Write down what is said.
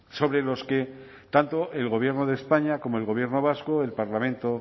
sobre los que tanto el gobierno de españa como el gobierno vasco el parlamento